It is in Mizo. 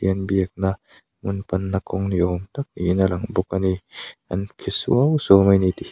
thian biakna hmun panna kawng ni awm niin a lang bawk ani an phe suau suau mai ni tihia--